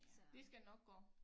Det skal nok gå